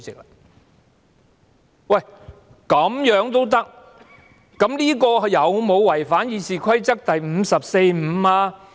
那麼，局長這樣做有否違反《議事規則》第545條呢？